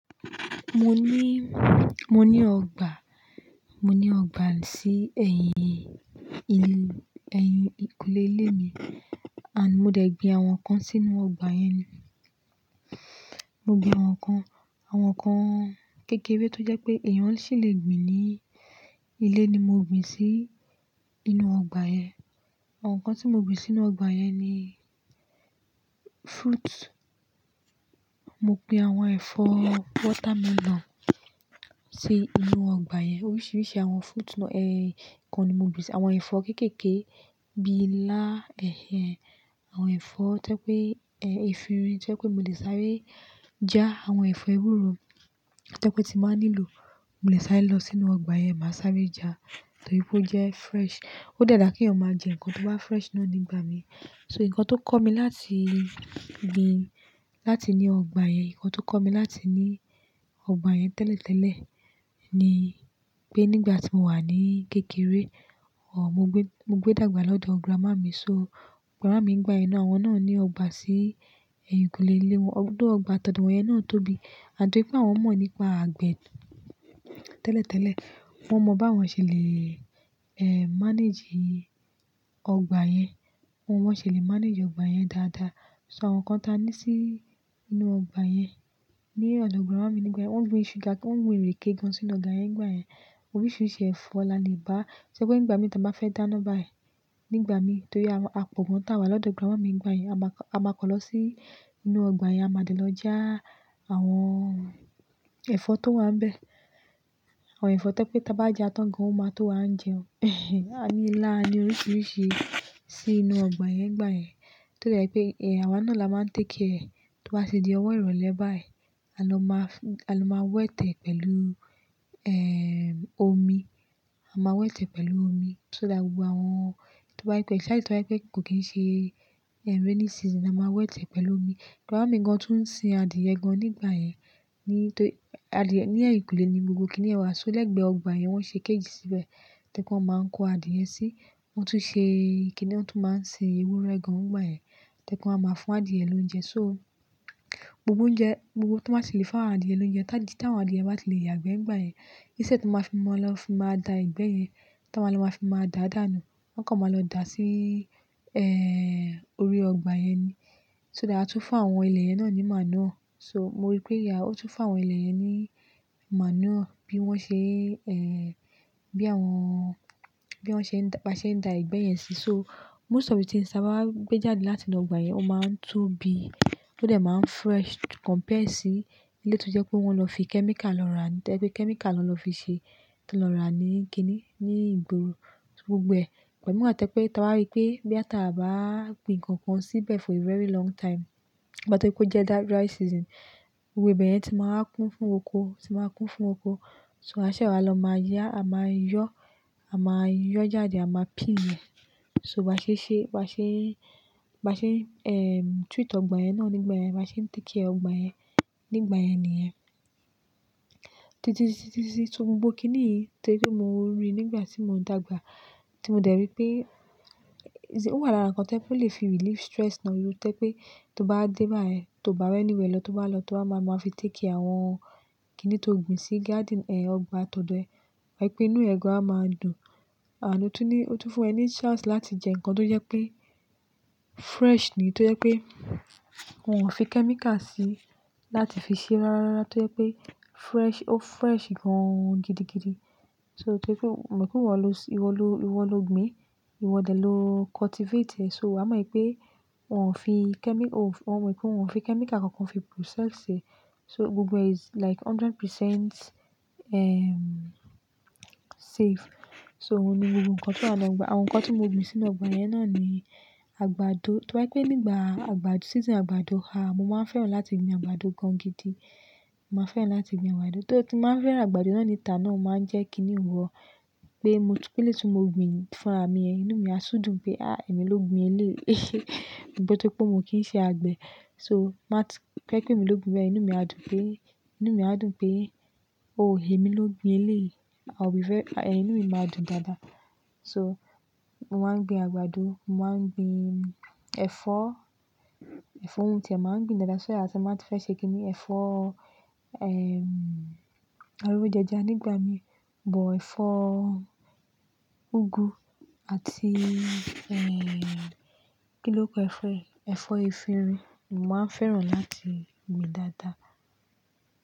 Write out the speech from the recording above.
Mo ní, mo ní ọgbà, mo ní ọgbà sí ẹ̀yìn ilé, ẹ̀yìn ìkùlé ilé mi and mo dẹ̀ gbin àwọn nǹkan sínú ọgbà yẹn. Mo gbin àwọn nǹkan, àwọn nǹkan kékeré tó jẹ́ pé èèyàn ṣì lè gbin ní ilé ni mo gbin sí inú ọgbà yẹn. Àwọn nǹkan tí mo gbin sínú ọgbà yẹn ni fruits. Mo gbin àwọn ẹ̀fọ́ watermelon sí inú ọgbà yẹn. Oríṣiríṣi àwọn fruits náà, ẹ̀, nǹkan ni mo gbìn. Àwọn ẹ̀fọ́ kéékèèké bíi ilá, ẹ̀hẹ̀ń. Àwọn ẹ̀fọ́ tó pé, ẹ́, efinrin tó pé mo lè sáré já. Àwọn ẹ̀fọ́ ewúro tó pé tí màá nílò, mo lè sáré lọ sínú ọgbà yẹn, màá sáré já torí pé ó jẹ́ fresh. Ó dáadáa kí èèyàn máa jẹ nǹkan tó bá fresh náà nígbà mí. So nǹkan tó kọ́ mi láti gbin, láti ní ọgbà yẹn, nǹkan tó kọ́ mi láti ní ọgbà yẹn tẹ́lẹ̀tẹ́lẹ̀ ni pé nígbà tí mo wà ní kékeré, ọ̀, mo gbé, mo gbé dàgbà lọ́dọ̀ grandma mi. So grandma mi ńigbà yẹn, àwọn náà ní ọgbà sí ẹ̀yìn ìkúlé ilé wọn. Òdò ọgbà tọ̀dò wọ̀nyẹn náà tóbi àtipé pé àwọn mọ̀ nípa àgbẹ̀ tẹ́lẹ̀tẹ́lẹ̀. Wọ́n mọ báwọn ṣe lè, ẹ́, manage ọgbà yẹn. Wọn ṣe lè manage ọgbà yẹn dáadáa. So àwọn nǹkan ta ní sí inú ọgbà yẹn ní ọ̀dọ̀ grandma mi nígbà yẹn. Wọ́n gbin sugar, wọ́n gbin ìrèké gan sínú ọgbà yẹn nígbà yẹn. Oríṣiríṣi ẹ̀fọ́ la lè bá. Torí pé nígbà mí tí màá fẹ́ dáná báyìí, nígbà mí torí àwọn, a pò gan tà wa lọ́dọ̀ grandma mi nígbà yẹn. A máa kọ, a máa kọ lọ sí inú ọgbà yẹn, a máa dé lọ já àwọn ẹ̀fọ́ tó wà ń bẹ. Àwọn ẹ̀fọ́ tó pé tí a bá jẹ́ tán gan an máa tó wá ń jẹun. A ní ilá, a ní oríṣiríṣi sí inú ọgbà yẹn nígbà yẹn. Torí pé, ẹ́, àwa náà la máa ń take kia rẹ̀ tó bá ṣe di ọwọ́ ìrọ̀lẹ́ báyìí, a lọ máa f-a lọ máa wẹ́tẹ̀ pẹ̀lú, ẹ́, omi. A máa wẹ́tẹ̀ pẹ̀lú omi. So that gbogbo àwọn tó bá yí pẹ̀-- ṣáájú tí wọ́n bá yí pé kò kí n ṣe, ẹ́, rainy season, a máa wẹ́tẹ̀ pẹ̀lú omi. Grandma mi gan tún ń sin adìẹ gan nígbà yẹn. Ní, tó, adìẹ ní ẹ̀yìn ìkúlé ni gbogbo kiní ẹ̀ wà. So lẹ́gbẹ̀ẹ́ ọgbà yẹn wọ́n ṣe kejì síbẹ̀ tí wọ́n máa ń kó adìẹ sí. Wọ́n tún ṣe kiní wọ́n tún máa ń sin ewúrẹ́ gan nígbà yẹn tí ẹ́ kọ́ máa ń fún adìẹ lóúnjẹ. So gbogbo oúnjẹ, gbogbo tó máa ti lè fún adìẹ lóúnjẹ, táí tí àwọn adìẹ bá ti lè yàgbẹ́ nígbà yẹn. Íṣẹ́ tó máa fi mọ́ lọ fi máa da ìgbẹ́ yẹn, táa máa lọ máa fi máa dàádàánù. Wọ́n kọ́ máa lọ dà sí, ẹ́, orí ọgbà yẹn ni. So that a tún fún àwọn ilẹ̀ yẹn náà ní màánú. So mo rí pé ìyá ó tún fún àwọn ilẹ̀ yẹn ní màánú bí wọ́n ṣe, ẹ́, bí àwọn, bí wọ́n ṣe ń dà, bá ṣe ń da ìgbẹ́ yẹn sí. So most of the things ti ń sábà gbé jáde láti inú ọgbà yẹn ó máa ń tóbi, tó dà máa ń fresh compare sí ilé tó jẹ́ pé wọ́n lọ fi kẹ́míkà lọ rà, tó pé kẹ́míkà ló lọ fi ṣe, tó lọ rà ní kiní, ní ìgboro. So gbogbo ẹ̀, ẹ̀, mìíràn tẹ́ pé tí wá rí pé bí a tà bá gbin nǹkan kan síbẹ̀ for a very long time, àbọ̀ tí kó jẹ́ that dry season, gbogbo ẹ̀ bẹ̀yẹn ti máa ń kún fún oko, ti máa ń kún fún oko. So aṣẹ́ wa lọ máa yá, a máa yọ́, a máa yọ́ jáde, a máa pín ẹ̀. So bí a ṣe ṣe, bí a ṣe, bí a ṣe ń, ẹ́, treat ọgbà yẹn náà nígbà yẹn. Bí á ṣe take care ọgbà yẹn nígbà yẹn nìyẹn. Títí, títí, títí, títí, títí gbogbo kiní yìí torí pé mo rí nígbà tí mò ń dàgbà tí mo dẹ̀ rí pé, oṣì, ó wà lára nǹkan tó lè fi relief stress náà. Torí pé tó bá dé báyìí, tó bá wẹ́ níwe lọ tó bá lọ, tó bá máa mọ́, a fi take care àwọn kiní tó gbin sí garden, ẹ, ọgbà tọ̀dọ̀ ẹ. Wàá rí pé inú ẹ gọ̀ á máa dùn. Àní ó tún ní, ó tún fún ẹ ní chance láti jẹ́ nǹkan tó jẹ́ pé fresh ni. Tó jẹ́ pé wọ́n ò fi kẹ́míkà síi láti fi ṣe rárá. Torí pé fresh, ó fresh gan gidigidi. So torí pé òun, ẹ̀, mo pé wọ́n lọ sin-- ìwọ lo, ìwọ lo gbin, ìwọ dẹ̀ ló cultivate ẹ̀. So wà á mọ̀ pé wọ́n ò fi kẹ́mi-- o, wọ́n mọ̀ pé wọ́n ò fi kẹ́míkà kankan fi process ẹ̀. So gbogbo ẹ is like hundred percent, ẹ́, safe. So òun ni gbogbo nǹkan tí a ń gba. Àwọn nǹkan tí mo gbin sínú ọgbà yẹn náà ni àgbàdo. Tó bá jẹ́ pé nígbà àgbàdo, season àgbàdo ha, mo máa ń fẹ́ràn láti gbin àgbàdo gan gidi. Mo máa ń fẹ́ràn láti gbin àgbàdo. Torí tí màá ń fẹ́ràn àgbàdo náà ni ìtàn náà máa ń jẹ́ kiní wọ́ pé mo ti pé lẹ́tí mo gbin fúnra mi ẹ. Inú mi á sú dùn pé, "Áà! Èmi ló gbin ilé yìí." Rí i pé torí pé mo kì í ṣe àgbẹ̀. So má t-- kíẹ́ pé mi ló gbin bẹ́ẹ̀, inú mi á dùn pé, inú mi á dùn pé, "Oh! Èmi ló gbin ilé yìí." I will be very-- ẹ́, inú mi máa dùn dáadáa. So mo máa ń gbin àgbàdo, mo máa ń gbin ẹ̀fọ́, ẹ̀fọ́ ń ti ẹ́ máa ń gbin dáadáa. So iyà tí màá ń fẹ́ ṣe kiní ẹ̀fọ́, ẹ́, arówó jẹja nígbà mí. But ẹ̀fọ́ úgú àti, ẹ́, kí ni óókọ ẹ̀fọ́, ẹ̀fọ́ efinrin ni màá ń fẹ́ràn láti gbin dáadáa.